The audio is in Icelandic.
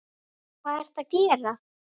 Hvað ertu að gera?